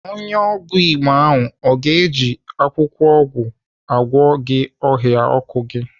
Onye ọgwụ Igbo ahụ ọ ga-eji akwụkwọ ọgwụ agwọ gị ahụọkụ gị?